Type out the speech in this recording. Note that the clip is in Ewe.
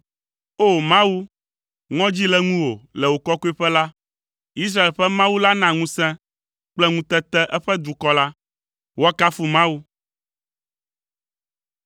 O! Mawu, ŋɔdzi le ŋuwò le wò kɔkɔeƒe la; Israel ƒe Mawu la na ŋusẽ kple ŋutete eƒe dukɔ la. Woakafu Mawu!